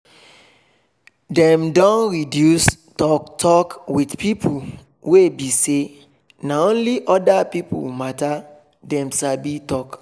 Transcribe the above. dem don reduce talk talk with pipo wey be say na only orda pipo matter dem sabi talk